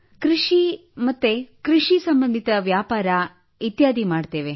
ಕೃಷಿ ಮತ್ತು ಕೃಷಿ ಸಂಬಂಧಿತ ವ್ಯಾಪಾರ ಇತ್ಯಾದಿ ಮಾಡುತ್ತೇವೆ